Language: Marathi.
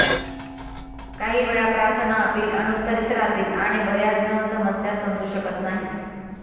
काही वेळा प्रार्थना अपील अनुत्तरित राहतील आणि बर्याचजण समस्या समजू शकत नाहीत